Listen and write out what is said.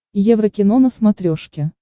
еврокино на смотрешке